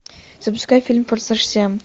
запускай фильм форсаж семь